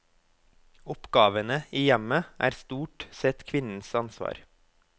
Oppgavene i hjemmet er stort sett kvinnens ansvar.